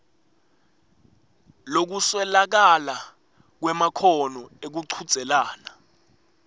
lokuswelakala kwemakhono ekuchudzelana